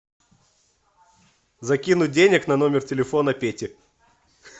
закинуть денег на номер телефона пети